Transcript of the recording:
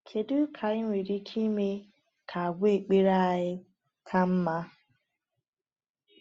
Kedu ka anyị nwere ike ime ka àgwà ekpere anyị ka mma?